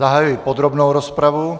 Zahajuji podrobnou rozpravu.